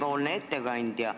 Austatud ettekandja!